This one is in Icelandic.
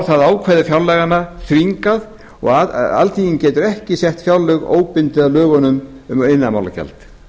það ákvæði fjárlaganna þvingað og alþingi getur ekki sett fjárlög óbundið af lögum um iðnaðarmálagjald lög